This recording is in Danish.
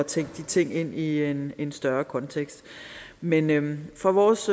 tænke de ting ind i en en større kontekst men men fra vores